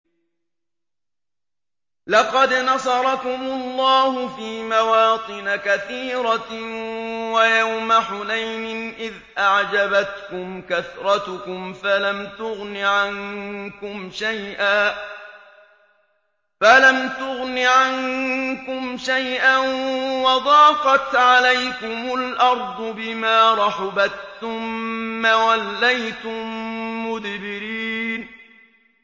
لَقَدْ نَصَرَكُمُ اللَّهُ فِي مَوَاطِنَ كَثِيرَةٍ ۙ وَيَوْمَ حُنَيْنٍ ۙ إِذْ أَعْجَبَتْكُمْ كَثْرَتُكُمْ فَلَمْ تُغْنِ عَنكُمْ شَيْئًا وَضَاقَتْ عَلَيْكُمُ الْأَرْضُ بِمَا رَحُبَتْ ثُمَّ وَلَّيْتُم مُّدْبِرِينَ